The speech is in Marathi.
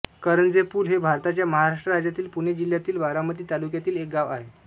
करंजेपूल हे भारताच्या महाराष्ट्र राज्यातील पुणे जिल्ह्यातील बारामती तालुक्यातील एक गाव आहे